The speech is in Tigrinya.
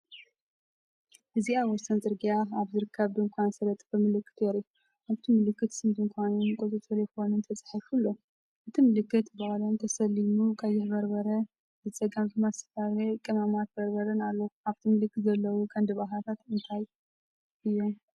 እዚ ኣብ ወሰን ጽርግያ ኣብ ዝርከብ ድኳን ዝተለጠፈ ምልክት የርኢ። ኣብቲ ምልክት ስም ድኳንን ቁጽሪ ተሌፎንን ተጻሒፉ ኣሎ። እቲ ምልክት ብቀለም ተሰሊሙ ቀይሕ በርበረ፡ ብጸጋም ድማ ዝተፈላለየ ቀመማትን በርበረን ኣሎ። ኣብቲ ምልክት ዘለዉ ቀንዲ ባእታታት እንታይ እዮም?